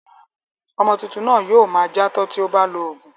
Ọmọ tuntun náà yóò ma játọ́ ti ó bá lọ òògùn.